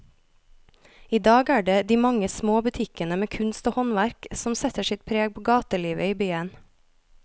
I dag er det de mange små butikkene med kunst og håndverk som setter sitt preg på gatelivet i byen.